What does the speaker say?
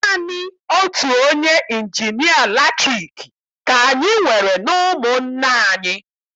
Naanị otu onye injinịa latriki ka anyị nwere n'ụmụnna anyị.